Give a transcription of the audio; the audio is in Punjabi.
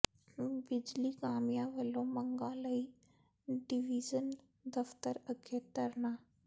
ਬਿਜਲੀ ਕਾਮਿਆਂ ਵੱਲੋਂ ਮੰਗਾਂ ਲਈ ਡਿਵੀਜ਼ਨ ਦਫ਼ਤਰ ਅੱਗੇ ਧਰਨਾ